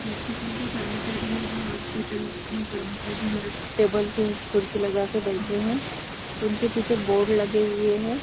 Hospital के कर्मचारी है जो हॉस्पिटल के कर्मचारी और टेबल पे कुर्सी लगा के बैठे हैं उनके पीछे बोर्ड लगे हुए हैं।